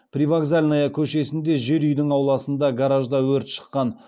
привокзальная көшесінде жер үйдің ауласындағы гаражда өрт шыққан